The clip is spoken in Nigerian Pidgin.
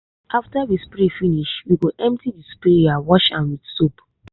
after we spray finish we go empty the sprayer wash am with soap.